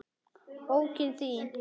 Bókin þín